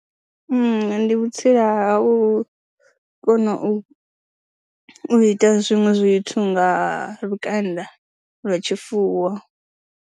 Ndi vhutsila ha u kona u ita zwiṅwe zwithu nga lukanda lwa tshifuwo.